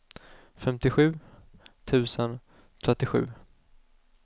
femtiosju tusen trettiosju